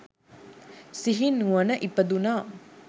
සිහි නුවණ ඉපදුණා.